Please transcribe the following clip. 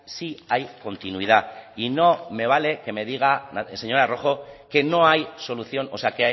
sí hay continuidad y no me vale que me diga señora rojo que no hay solución o sea